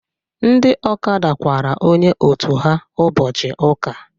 Ndị ọkada kwara onye otu ha ụbọchị ụka.